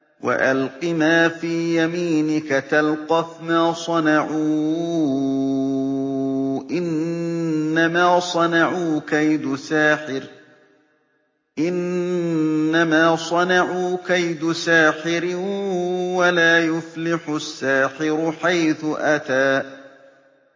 وَأَلْقِ مَا فِي يَمِينِكَ تَلْقَفْ مَا صَنَعُوا ۖ إِنَّمَا صَنَعُوا كَيْدُ سَاحِرٍ ۖ وَلَا يُفْلِحُ السَّاحِرُ حَيْثُ أَتَىٰ